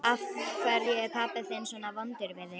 Af hverju er pabbi þinn svona vondur við þig?